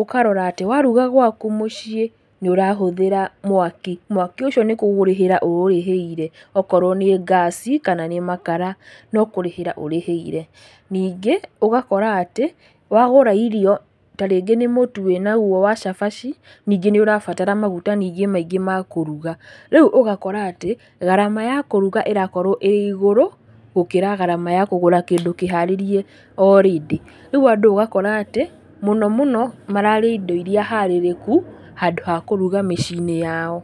ũkarora atĩ, waruga gwaku mũciĩ, nĩũrahũthĩra mwaki, mwaki ũcio nĩkũrĩhĩra ũũrĩhĩire, okorwo nĩ ngaci kana nĩ makara nokũrĩhĩra ũrĩhĩire, ningĩ, ũgakoraga atĩ, wagũra irio, ta rĩngĩ nĩ mũtu wĩnaguo wa cabaci, ningĩ nĩũrabatara maguta ningĩ maingĩ makũruga, rĩu ũgakora atĩ, garama ya kũruga ĩrakorwo ĩrĩ igũrũ, gũkĩra garama ya kũgũra kĩndũ kĩharĩrie orĩndĩ, rĩu andũ ũgakora atĩ, mũno mũno mararĩa indo iria harĩrĩku, handũ ha kũruga mĩci-inĩ yao.